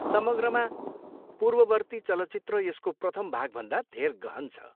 समग्रमा, पूर्ववर्ती चलचित्र यसको प्रथम भागभन्दा धेर गहन छ।